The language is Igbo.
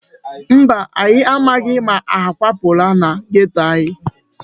Mba, anyị amaghị ma ha akwapụla na geto anyị.